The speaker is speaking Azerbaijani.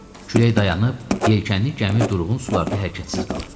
Külək dayanıb, yelkənli gəmi durğun sularda hərəkətsiz qalıb.